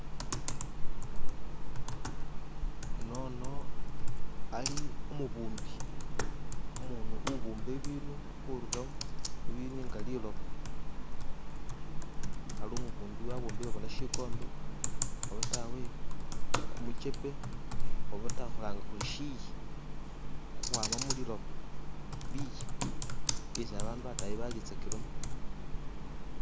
Unono ali umubumbi, umuntu ubumba ibindu khurura mubintu nga liloba ari umubumbi bona abumbile bona shikombe obatawe kumukepe obata khushilanga khuri shiyi khukhwama muliloba, biyi, byesi babandu batayi balila tsakilamo.